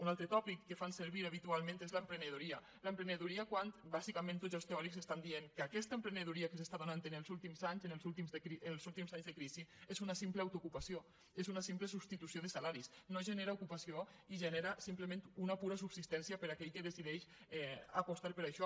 un altre tòpic que fan servir ha·bitualment és l’emprenedoria l’emprenedoria quan bàsicament tots els teòrics diuen que aquesta empre·nedoria que s’està donant en els últims anys en els últims anys de crisi és una simple autoocupació és una simple substitució de salaris no genera ocupació i genera simplement una pura subsistència per a aquell que decideix apostar per això